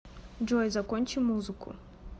джой закончи музыку